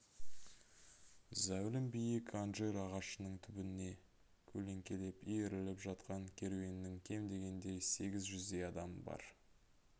зәулім биік анжир ағашының түбіне көлеңкелеп иіріліп жатқан керуеннің кем дегенде сегіз жүздей адамы бар